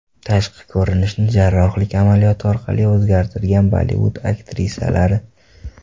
Tashqi ko‘rinishini jarrohlik amaliyoti orqali o‘zgartirgan Bollivud aktrisalari .